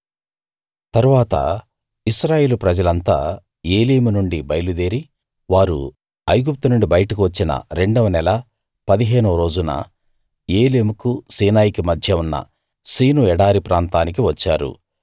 తరువాత ఇశ్రాయేలు ప్రజలంతా ఏలీము నుండి బయలుదేరి వారు ఐగుప్తు నుండి బయటకు వచ్చిన రెండవ నెల పదిహేనోరోజున ఏలీముకు సీనాయికి మధ్య ఉన్న సీను ఎడారి ప్రాంతానికి వచ్చారు